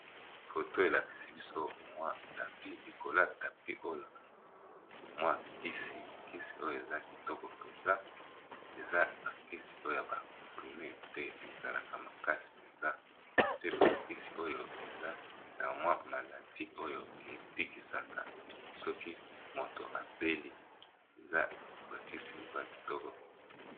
Photo elakisi biso mwa tapi ,likolo ya tapis oyo mwa kisi eza kitoko penza eza ya comprimés ezalaka makasi penza ebikisaka bokono mingi.